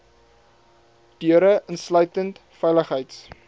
deure insluitend veiligheids